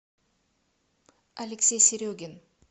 алексей серегин